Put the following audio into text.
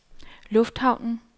lufthavnen